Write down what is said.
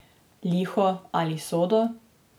Liho ali sodo?